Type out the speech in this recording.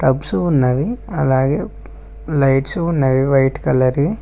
Cups ఉన్నవి అలాగే lights ఉన్నవి వైట్ కలర్ వి.